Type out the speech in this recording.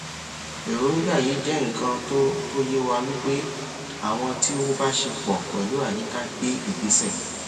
èròngbà yìí jẹ nnkan to to ye wà wípé àwọn tí o bá ṣe pọ pẹlú àyíká gbé ìgbésẹ